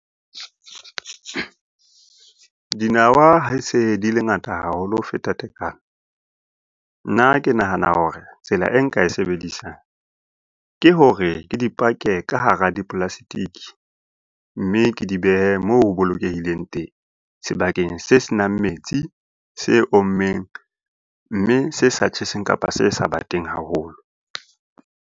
Dinawa ha di se di le ngata haholo ho feta tekano, nna ke nahana hore tsela e nka e sebedisang ke hore ke dipake ka hare hara di-plastic, mme ke di behe moo ho bolokehileng teng. Sebakeng se senang metsi se ommeng, mme se sa tjheseng kapa se sa bateng haholo.